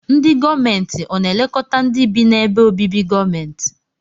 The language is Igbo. Ndi gọọmenti ọna elekọta ndi bi na ebe obibi gọọmenti?